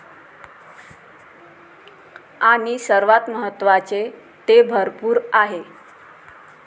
आणि सर्वात महत्वाचे, ते भरपूर आहे!